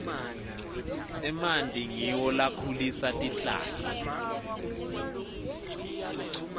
emanti ngiwo lakhulisa tihlahla